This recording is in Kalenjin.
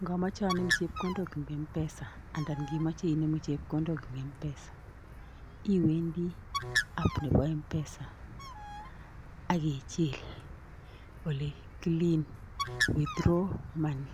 Yon amoche anem cheokondook en mpesa anan yon kemoche inemu chepkondok en mpesa, iwendi app Nebo mpesa akichil olekilen withdraw money,